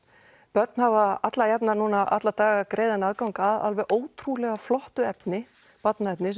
börn hafa alla jafna alla daga greiðan aðgang af alveg ótrúlega flottu efni barnaefni